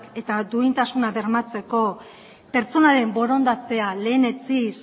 eta duintasunak bermatzeko pertsonaren borondatea lehenetsiz